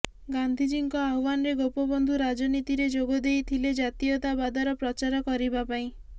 ଗାନ୍ଧିଜୀଙ୍କ ଆହ୍ବାନରେ ଗୋପବନ୍ଧୁ ରାଜନୀତିରେ ଯୋଗଦେଇ ଥିଲେ ଜାତୀୟତାବାଦର ପ୍ରଚାର କରିବାପାଇଁ